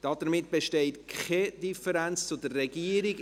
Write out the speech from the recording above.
Damit besteht keine Differenz zur Regierung.